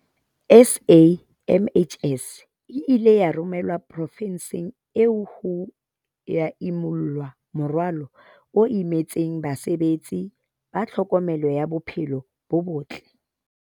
SAMHS e ile ya romelwa profenseng eo ho ya imulla morwalo o imetseng basebetsi ba tlhokomelo ya bophelo bo botle.